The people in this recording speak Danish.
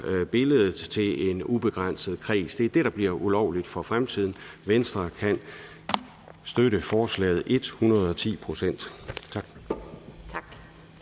billedet til en ubegrænset kreds det er det der bliver ulovligt for fremtiden venstre kan støtte forslaget ethundredeti procent tak